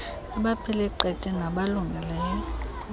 abaphile qete nabalungileyo